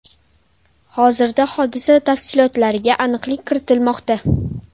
Hozirda hodisa tafsilotlariga aniqlik kiritilmoqda.